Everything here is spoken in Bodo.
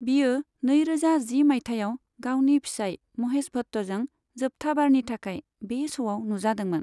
बियो नैरोजा जि माइथायाव गावनि फिसाइ महेश भट्टजों जोबथा बारनि थाखाय बे श'आव नुजादोंमोन।